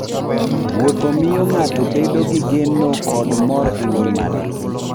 Wuotho miyo ng'ato bedo gi geno kod mor e ngima.